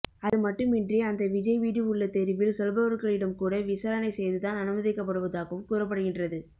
அதுமட்டுமின்றி அந்த விஜய்வீடு உள்ள தெருவில் சொல்பவர்களிடம் கூட விசாரணை செய்துதான் அனுமதிக்கபடுவதாகவும் கூறப்படுகின்றது